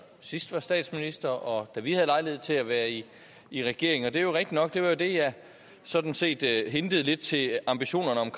sidst var statsminister og da vi havde lejlighed til at være i i regering og det er rigtigt nok at det var det jeg sådan set hintede lidt til ambitionerne om